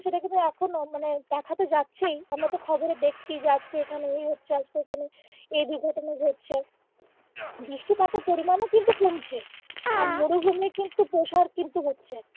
সেটা কিন্তু এখনো মানে দেখাতো যাচ্ছেই আমরা তো খবরে দেখছিই যে আজকে এইখানে এই হচ্ছে আজকে ওইখানে এই দুর্ঘটনা ঘটছে বৃষ্টিপাতের পরিমান ও কিন্তু কমছে আর মরুভূমি কিন্তু প্রসার কিন্তু হচ্ছে।